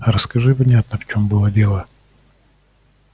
расскажи внятно в чем было дело